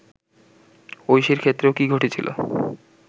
ঐশীর ক্ষেত্রেও কী ঘটেছিল